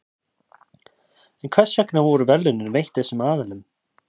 en hvers vegna voru verðlaunin veitt þessum aðilum